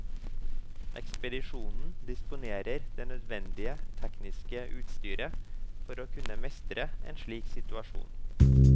Ekspedisjonen disponerer det nødvendige tekniske utstyret for å kunne mestre en slik situasjon.